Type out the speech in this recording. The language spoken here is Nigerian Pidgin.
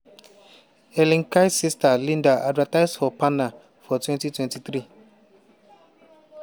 helen kite sister linda advertise for parner for 2023.